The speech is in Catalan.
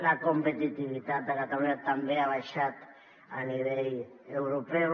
la competitivitat de catalunya també ha baixat a nivell europeu